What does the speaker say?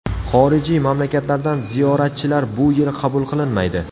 Xorijiy mamlakatlardan ziyoratchilar bu yil qabul qilinmaydi.